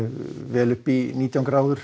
vel upp í nítján gráður